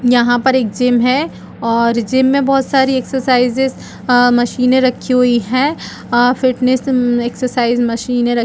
यहाँ पर एक जिम है और जिम मे बहोत सारी एक्सर्साइजेस आ मशीने रखी हुई है आ फिटनेस एक्सर्साइजेस मशीने रख --